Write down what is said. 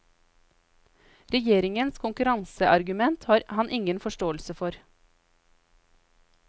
Regjeringens konkurranseargument har han ingen forståelse for.